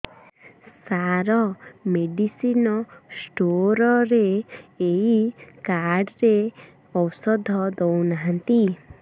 ସାର medicine store ରେ ଏଇ card ରେ ଔଷଧ ଦଉନାହାନ୍ତି